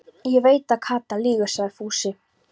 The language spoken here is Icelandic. Ég veit að Kata lýgur, sagði Fúsi.